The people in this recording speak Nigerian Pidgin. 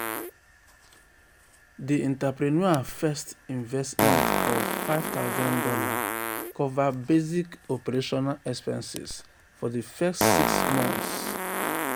um di entrepreneur first investment of five thousand dollars cover basic operational expenses for di first six um monts. um